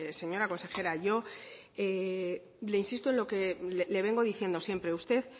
señora consejera yo le insisto en lo que le vengo diciendo siempre usted